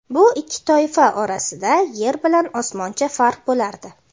Bu ikki toifa orasida yer bilan osmoncha farq bo‘lardi.